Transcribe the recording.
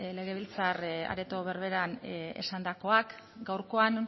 legebiltzar areto berberean esandakoak gaurkoan